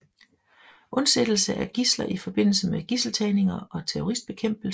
Undsættelse af gidsler i forbindelse med gidseltagninger og terroristbekæmpelse